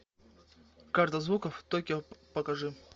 карта звуков токио покажи